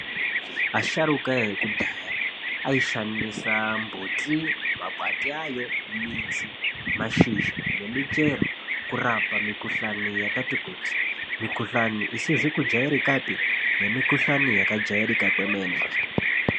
Asharuka ekudhaya aishandisa mbuti, makwati ayo, midzi, mashizha nemichero kurapa mikhuhlani yakati kuti. Mikhuhlani isizi kujairikapi nemikhuhlani yakajairika kwemene.